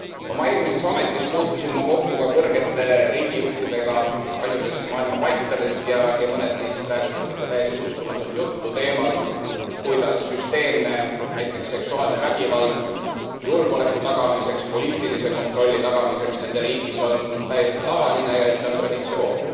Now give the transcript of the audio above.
Oma eelmises ametis puutusin ma kokku ka kõrgete riigijuhtidega paljudest maailma paikadest ja mõned neist rääkisid ikka täiesti uskumatut juttu teemal, kuidas süsteemne, näiteks seksuaalne vägivald julgeoleku tagamiseks, poliitilise kontrolli tagamiseks nende riigis on täiesti tavaline ja et see on traditsioon.